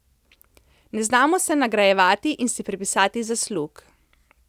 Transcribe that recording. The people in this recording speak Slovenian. Ne znamo se nagrajevati in si pripisati zaslug.